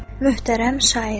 Möhtərəm şair.